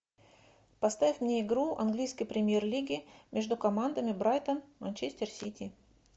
поставь мне игру английской премьер лиги между командами брайтон манчестер сити